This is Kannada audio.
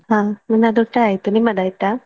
ಹಾ ನನ್ನದೂಟಾ ಆಯ್ತು, ನಿಮ್ಮದಾಯ್ತಾ?